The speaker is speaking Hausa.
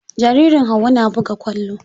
Jaririn Hauwa na buga kwallo.